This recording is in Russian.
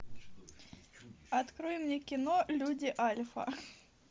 открой мне кино люди альфа